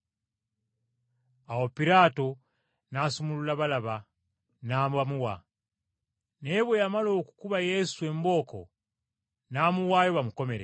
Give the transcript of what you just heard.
Awo Piraato n’asumulula Balaba n’abamuwa. Naye bwe yamala okukuba Yesu embooko n’amuwaayo bamukomerere.